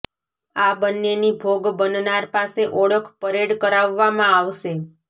આ બંનેની ભોગ બનનાર પાસે ઓળખ પરેડ કરાવવામાં આવશે